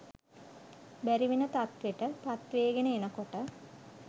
බැරි වෙන තත්වෙට පත්වේගන එනකොට